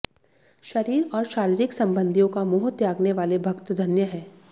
शरीर और शारीरिक संबंधियों का मोह त्यागने वाले भक्त धन्य हैं